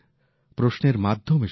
প্রশ্নের মাধ্যমে শুরু হয়